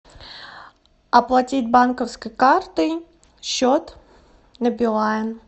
оплатить банковской картой счет на билайн